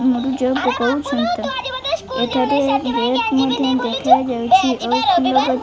ମୂରୁଜ ପକାଉଛନ୍ତି। ଏଠାରେ ଗେଟ୍ ମଧ୍ୟ ଦେଖାଯାଉଛି। ଆଉ